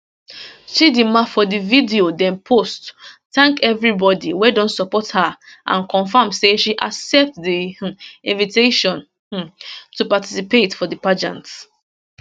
chidimma for di video dem post thank everybody wey don support her and confam say she accept di um invitation um to participate for di pageant